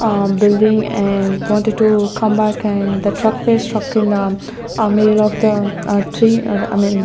A building an wanted to come back and the truck was struck in the middle of the tree I mean--